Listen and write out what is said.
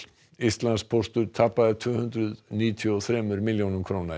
Íslandspóstur tapaði tvö hundruð níutíu og þremur milljónum króna